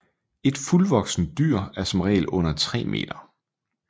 Et fuldvoksent dyr er som regel under 3 meter